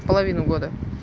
половину года